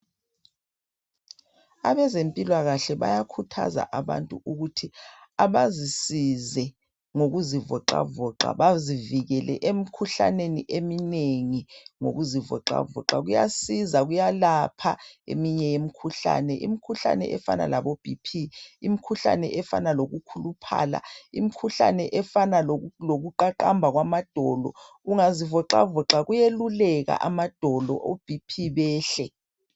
Abezempilakahle bayakhuthaza abantu ukuthi abazisize ngokuzivoxavoxa bazivikele emikhuhlaneni eminengi ngokuzivoxavoxa. Kuyasiza, kuyalapha eminye imikhuhlane. Imkhuhlane efana labo BP, imkhuhlane efana lokukhuluphala, imkhuhlane efana lokuqaqamba kwamadolo, ungazivoxavoxa kuyeluleka amadolo o BP behle.